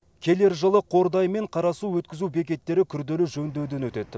келер жылы қордай мен қарасу өткізу бекеттері күрделі жөндеуден өтеді